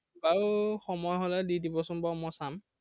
বাৰু সময় হলে দি দিবচোন বাৰু, মই চাম।